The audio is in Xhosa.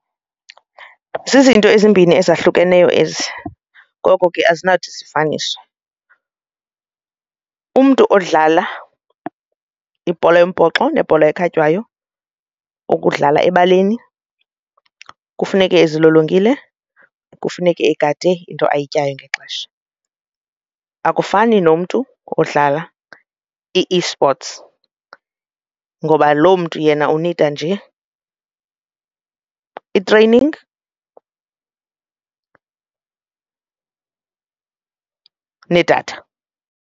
Zizinto ezimbini ezahlukeneyo ezi ngoko ke azinathi sisifaniswe. Umntu odlala ibhola yombhoxo nebhola ekhatywayo okudlala ebaleni kufuneke ezilolongile, kufuneke agade into ayityayo ngexesha, akufani nomntu odlala i-e-sports ngoba lo mntu yena unida nje i-training nedatha.